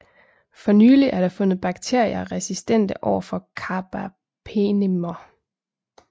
For nylig er der fundet bakterier resistente overfor carbapenemer